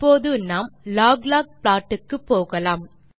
இப்போது நாம் log log plot க்கு போகலாம்